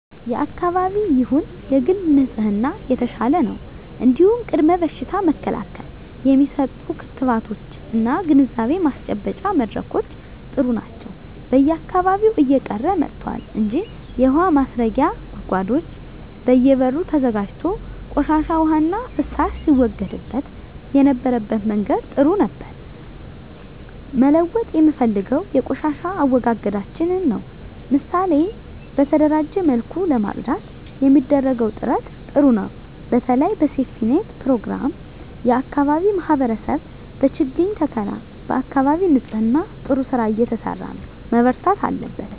የአካባቢ ይሁን የግል ንጽህና የተሻለ ነው እንዲሁም ቅድመ በሽታ መከላከል የሚሰጡ ክትባቶች እና ግንዛቤ ማስጨበጫ መድረኮች ጥሩ ናቸው በየአካባቢው እየቀረ መጥቷል እንጂ የውሀ ማስረጊያ ጉድጓዶች በየ በሩ ተዘጋጅቶ ቆሻሻ ዉሃና ፍሳሽ ሲወገድበት የነበረበት መንገድ ጥሩ ነበር መለወጥ የምፈልገው የቆሻሻ አወጋገዳችንን ነው ምሳሌ በተደራጀ መልኩ ለማፅዳት የሚደረገው ጥረት ጥሩ ነው በተለይ በሴፍትኔት ፕሮግራም የአካባቢ ማህበረሰብ በችግኝ ተከላ በአካባቢ ንፅህና ጥሩ ስራ እየተሰራ ነው መበርታት አለበት